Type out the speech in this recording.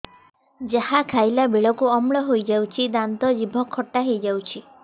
ଯାହା ଖାଇଲା ବେଳକୁ ଅମ୍ଳ ହେଇଯାଉଛି ଦାନ୍ତ ଜିଭ ଖଟା ହେଇଯାଉଛି